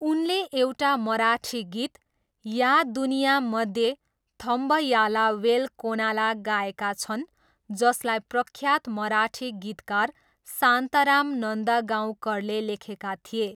उनले एउटा मराठी गीत ''या दुनियामध्ये थम्बयाला वेल कोनाला'' गाएका छन् जसलाई प्रख्यात मराठी गीतकार शान्तराम नन्दगाउँकरले लेखेका थिए।